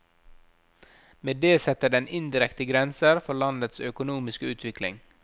Med det setter den indirekte grenser for landets økonomiske utvikling.